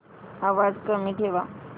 आवाज कमी ठेवा